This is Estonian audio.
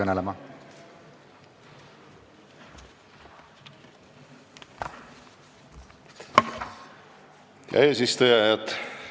Hea eesistuja!